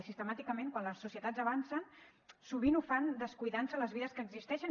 i sistemàticament quan les societats avancen sovint ho fan descuidant se les vides que existeixen